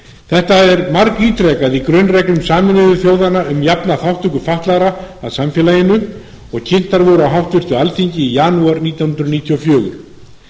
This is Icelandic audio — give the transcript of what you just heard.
þetta er margítrekað í grunnreglum sameinuðu þjóðanna um jafna þátttöku fatlaðra að samfélaginu og kynntar voru á háttvirtu alþingi í janúar nítján hundruð níutíu og fjögur